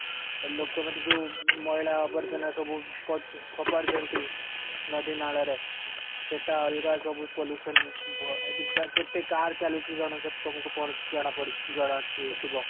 ଲୋକମାନେ ଯୋଉ ମଇଳା ଆବର୍ଜନା ସବୁ ପଡୁ ଫୋପାଡୁଛନ୍ତି ନଦୀ ,ନାଳରେ ସେଟା ଅଲଗା ସବୁ pollution କେତେ car ଚାଲୁଚି ଜନସେ ତମକୁ ପଡୁଛି ଜଣା ପଡୁଛି ଜଣା ଥିବା